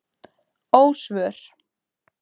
Ósvör